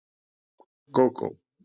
Gógó